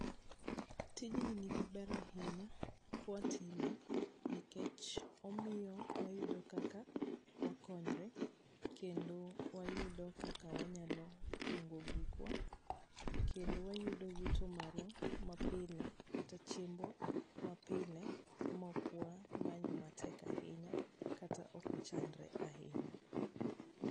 tijni ni gi ber ahinya kwa time nikech omiyo wayudo kaka wakonyre kendo wayudo kaka wanyalo kungo gikwa kendo wayudo yuto marwa pile kata chiembwa ma pile ma ok wamanyo matek ahinya kata ok wachandre ahinya .